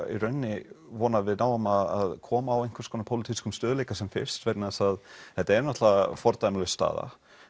í rauninni vona að við náum að koma á einhverjum pólitískum stöðugleika sem fyrst vegna þess að þetta er náttúrulega fordæmalaus staða